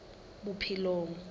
bophelong